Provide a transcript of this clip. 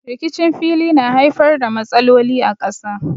Rikicin fili na haifar da matsaloli a ƙasa.